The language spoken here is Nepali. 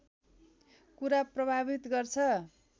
कुरा प्रभावित गर्छ